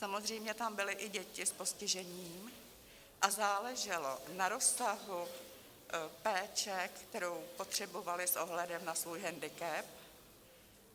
Samozřejmě tam byly i děti s postižením a záleželo na rozsahu péče, kterou potřebovaly s ohledem na svůj hendikep.